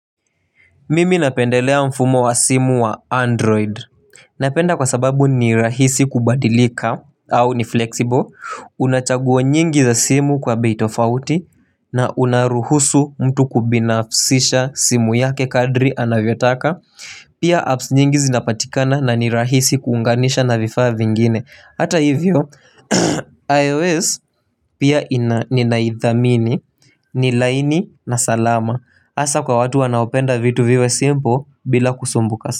Mimi napendelea mfumo wa simu wa android Napenda kwa sababu ni rahisi kubadilika au ni flexible Unachaguo nyingi za simu kwa bitofauti na unaruhusu mtu kubinafsisha simu yake kadri anavyotaka Pia apps nyingi zinapatikana na ni rahisi kuunganisha na vifaa vingine Hata hivyo, iOS pia ninaithamini ni laini na salama Asa kwa watu wanaopenda vitu viwe simple bila kusumbuka.